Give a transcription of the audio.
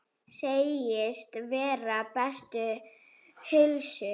Segist vera við bestu heilsu.